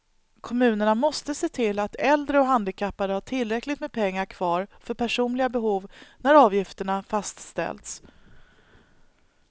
Kommunerna måste se till att äldre och handikappade har tillräckligt med pengar kvar för personliga behov när avgifterna fastställs.